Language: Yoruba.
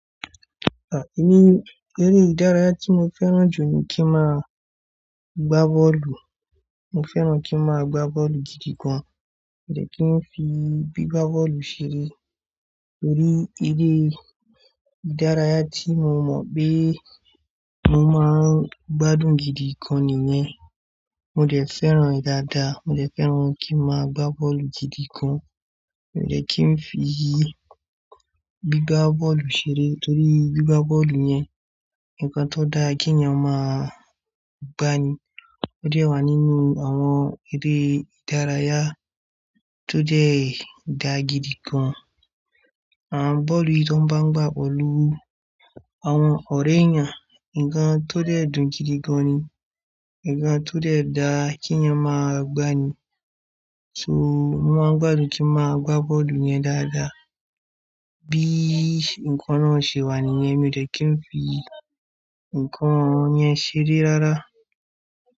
À, èmi, eré ìdárayá tí mo fẹ́ràn jù ní kí n máa gbá bọ́ọ̀lù. Mo fẹ́ràn kí n máa gbá bọ́ọ̀lù gidi gan. Mi o dẹ̀ kí n fi gbígba bọ́ọ̀lù ṣe, torí eré ìdárayá tí mo mọ̀ pé mo máa ń gbádùn gidi gan nìyẹn. Mo dẹ̀ fẹ́ràn rẹ̀ dáadáa, mo dẹ̀ fẹ́ràn kí n máa gbá bọ́ọ̀lù gidi gan. Mi o dẹ̀ kí n fi gbígba bọ́lù ṣeré torí gbígba bọ́ọ̀lù yẹn nǹkan tó dá kínyẹn máa gbani. Ó dẹ̀ wà nínú àwọn eré ìdárayá tó dẹ̀ dà gidi gan. Àn, bọ́ọ̀lù tí wọ́n bá ń gbá pẹ̀lú àwọn ọ̀rẹ́ èèyàn, nǹkan tó dẹ̀ dùn gidi gan ni, nǹkan tó dẹ̀ dá kínyẹn máa gbani. So, mo máa ń gbádùn kí n máa gbá bọ́ọ̀lù yẹn dáadáa. Bí nǹkan náà ṣe wà nìyẹn, mi ò dẹ̀ kí n fi nǹkan yẹn ṣeré rárá.